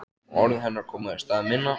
Orð hennar koma í stað minna.